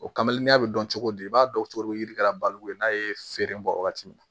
O kame n'a bɛ dɔn cogo di i b'a dɔn cogo yirikala baliku ye n'a ye feere bɔ waagati min na